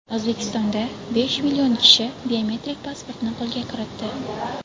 O‘zbekistonda besh million kishi biometrik pasportni qo‘lga kiritdi.